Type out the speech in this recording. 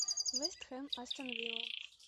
вест хэм астон вилла